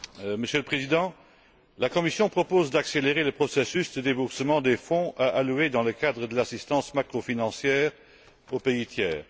Monsieur le Président, la Commission propose d'accélérer le processus de déboursement des fonds à allouer dans le cadre de l'assistance macrofinancière aux pays tiers.